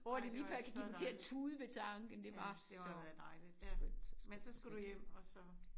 Åh det lige før jeg kan give mig til at tude ved tanken det var så skønt så skønt så skønt